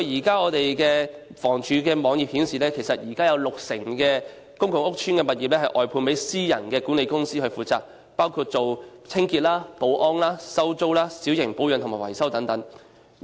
根據房署的網頁，現時有六成公共屋邨的物業外判私人管理公司負責，包括清潔、保安、收租、小型保養和維修等。